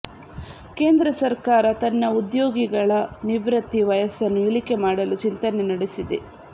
ಕೇಂದ್ರ ಸರ್ಕಾರ ತನ್ನ ಉದ್ಯೋಗಿಗಳ ನಿವೃತ್ತಿ ವಯಸ್ಸನ್ನು ಇಳಿಕೆ ಮಾಡಲು ಚಿಂತನೆ ನಡೆಸಿದೆ